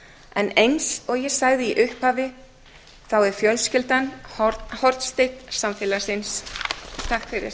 en eins og ég sagði í upphafi er fjölskyldan hornsteinn samfélagsins takk fyrir